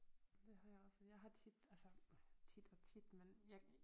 Det har jeg også jeg har tit altså hm tit og tit men jeg